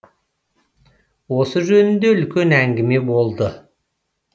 осы жөнінде үлкен әңгіме болды